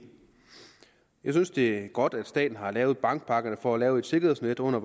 jeg synes det er godt at staten har lavet bankpakkerne for at lave et sikkerhedsnet under